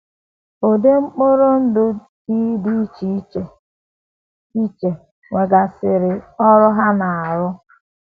Ụdị mkpụrụ ndụ T dị iche iche iche um nwegasịrị um ọrụ ha na - arụ um.